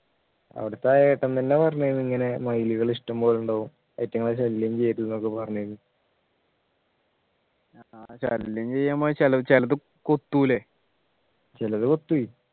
അവിടെത്തെ ആ ഏട്ടൻ തന്നെ പറഞ്ഞു ഇങ്ങനെ മയിലുകൾ ഇഷ്ടംപോലെ ഉണ്ടാവും അയിട്ടുങ്ങളെ ശല്യം ചെയ്യരുത് എന്നൊക്കെ പറഞ്ഞു ആഹ് ശല്യം ചെയ്യുമ്പോൾ ചെല ചിലത് കൊത്തൂലെ ചിലത് കൊത്തുഏ